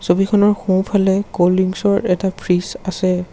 ছবিখনৰ সোঁ-ফালে ক'ল্ড দৃংকচৰ এটা ফ্ৰিজ আছে।